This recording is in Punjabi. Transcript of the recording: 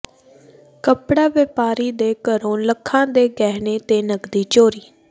ਕਪੜਾ ਵਪਾਰੀ ਦੇ ਘਰੋਂ ਲੱਖਾਂ ਦੇ ਗਹਿਣੇ ਤੇ ਨਕਦੀ ਚੋਰੀ